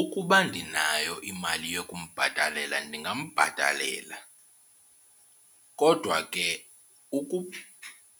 Ukuba ndinayo imali yokumbhatalela ndingambhatalela. Kodwa ke